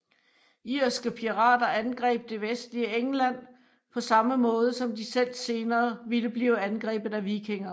Irske pirater angreb det vestlige England på samme måde som de selv senere ville blive angrebet af vikinger